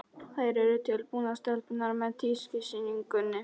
Þær eru tilbúnar, stelpurnar, með tískusýninguna.